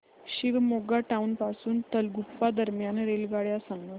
Shivamogga town पासून तलगुप्पा दरम्यान रेल्वेगाड्या सांगा